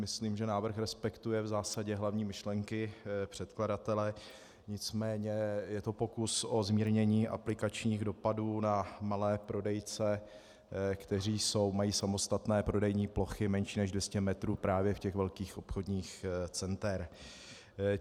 Myslím, že návrh respektuje v zásadě hlavní myšlenky předkladatele, nicméně je to pokus o zmírnění aplikačních dopadů na malé prodejce, kteří mají samostatné prodejní plochy menší než 200 metrů právě v těch velkých obchodních centrech.